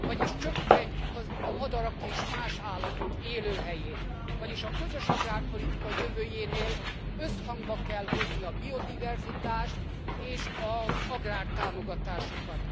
Vagyis csökkentjük a madarak és más állatok élőhelyét, vagyis a közös agrárpolitika jövőjénél összhangba kell hozni a biodiverzitást és az agrártámogatásokat.